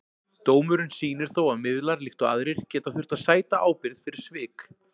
Dómurinn sýnir þó að miðlar, líkt og aðrir, geta þurft að sæta ábyrgð fyrir svik.